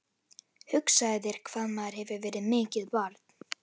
Hugsaðu þér hvað maður hefur verið mikið barn.